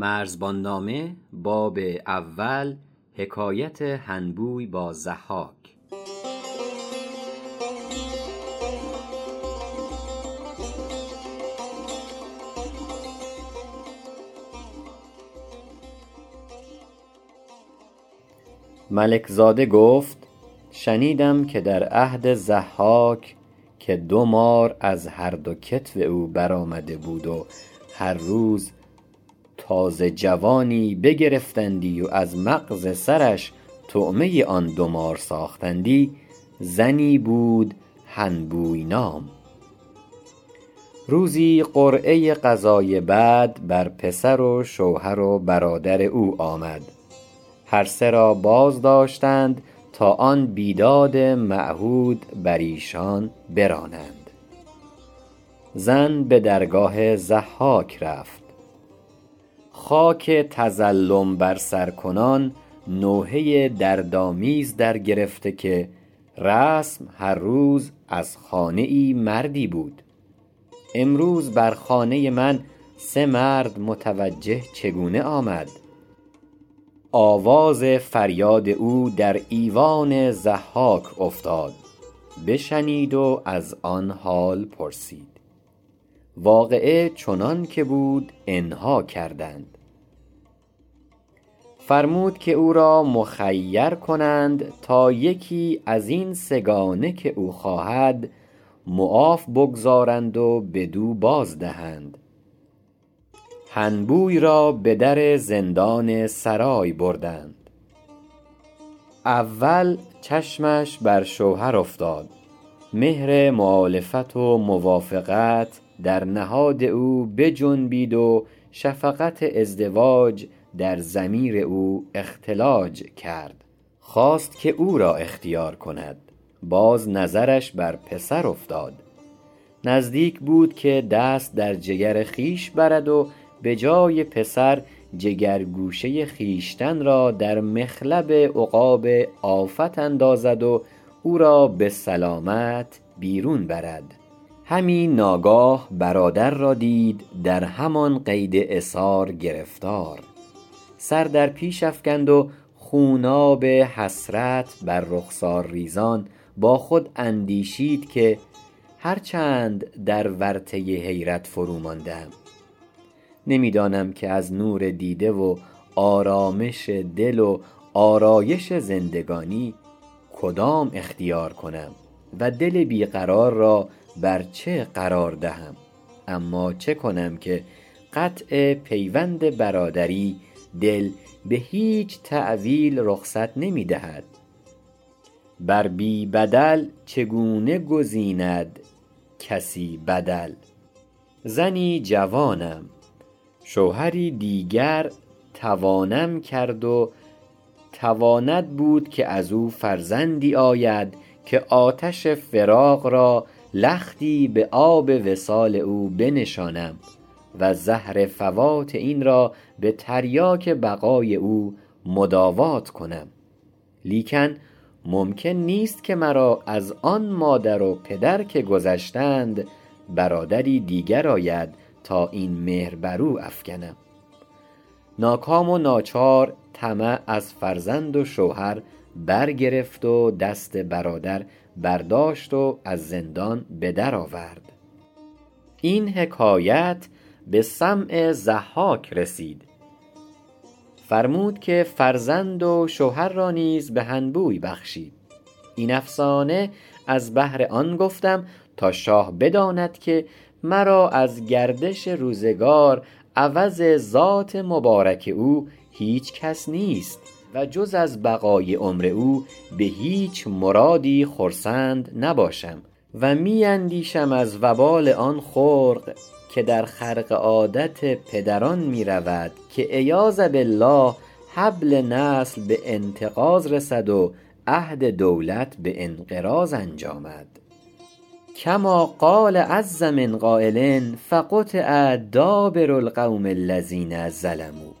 ملک زاده گفت شنیده ام که در عهد ضحاک که دو مار از هر دو کتف او بر آمده بود و هر روز تازه جوانی بگرفتندی و از مغز سرش طعمه آن دو مار ساختندی زنی بود هنبوی نام روزی قرعه قضای بد بر پسر و شوهر و برادر او آمد هر سه را باز داشتند تا آن بیداد معهود بر ایشان برانند زن به درگاه ضحاک رفت خاک تظلم بر سر کنان نوحه دردآمیز در گرفته که رسم هر روز از خانه ای مردی بود امروز بر خانه من سه مرد متوجه چگونه آمد آواز فریاد او در ایوان ضحاک افتاد بشنید و از آن حال پرسید واقعه چنانکه بود آنها کردند فرمود که او را مخیر کنند تا یکی ازین سه گانه که او خواهد معاف بگذراند و بدو باز دهند هنبوی را به در زندان سرای بردند اول چشمش بر شوهر افتاد مهر مؤالفت و موافقت در نهاد او بجنبید و شفقت ازدواج در ضمیر او اختلاج کرد خواست که او را اختیار کند باز نظرش بر پسر افتاد نزدیک بود که دست در جگر خویش برد و به جای پسر جگر گوشه خویشتن را در مخلب عقاب آفت اندازد و او را به سلامت بیرون برد همی ناگاه برادر را دید در همان قید اسار گرفتار سر در پیش افکند خوناب حسرت بر رخسار ریزان با خود اندیشید که هر چند در ورطه حیرت فرو مانده ام نمی دانم که از نور دیده و آرامش دل و آرایش زندگانی کدام اختیار کنم و دل بی قرار را بر چه قرار دهم اما چه کنم که قطع پیوند برادری دل به هیچ تأویل رخصت نمی دهد ع بر بی بدل چگونه گزیند کسی بدل زنی جوانم شوهری دیگر توانم کرد و تواند بود که ازو فرزندی آید که آتش فراق را لختی به آب وصال او بنشانم و زهر فوات این را به تریاک بقای او مداوات کنم لیکن ممکن نیست که مرا از آن مادر و پدر که گذشتند برادری دیگر آید تا این مهر برو افکنم ناکام و ناچار طمع از فرزند و شوهر برگرفت و دست برادر برداشت و از زندان به در آورد این حکایت به سمع ضحاک رسید فرمود که فرزند و شوهر را نیز به هنبوی بخشید این افسانه از بهر آن گفتم تا شاه بداند که مرا از گردش روزگار عوض ذات مبارک او هیچکس نیست و جز از بقای عمر او به هیچ مرادی خرسند نباشم و می اندیشم از وبال آن خرق که در خرق عادت پدران می رود که عیاذا بالله حبل نسل به انتقاض رسد و عهد دولت به انقراض انجامد کما قال عز من قایل فقطع دابر القوم الذین ظلموا